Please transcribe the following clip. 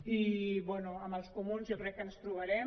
i bé amb els comuns jo crec que ens trobarem